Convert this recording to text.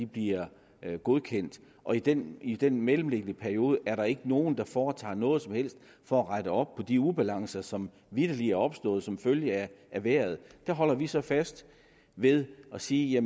bliver godkendt og i den i den mellemliggende periode er der ikke nogen der foretager sig noget som helst for at rette op på de ubalancer som vitterlig er opstået som følge af vejret der holder vi så fast ved at sige